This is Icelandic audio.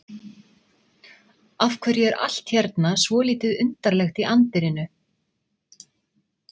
Af hverju er allt hérna svolítið undarlegt í anddyrinu?